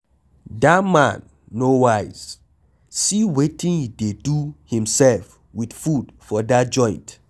Dat man no wise, see wetin he dey do himself with food for dat joint.